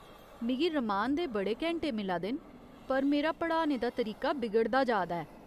मिगी रमान दे बड़े घैंटे मिला दे न, पर मेरा पढ़ाने दा तरीका बिगड़दा जा दा ऐ।